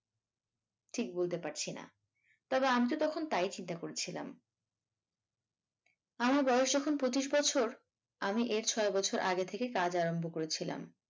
ঠিক বুঝতে পারছি না তবে আমিতো তখন তাই চিন্তা করছিলাম আমার বয়স যখন পঁচিশ বছর আমি এর ছয় বছর আগে থেকে কাজ আরম্ভ করেছিলাম।